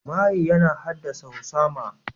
Maye yana haddasa husama.